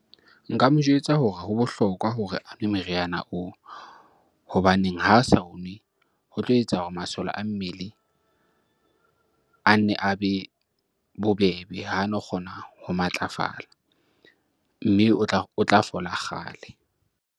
Nka mo jwetsa hore ho bohlokwa hore a nwe meriana oo hobaneng ha sa o nwe, ho tlo etsa hore masole a mmele a nne a be bobebe. Hano kgona ho matlafala, mme o tla fola kgale.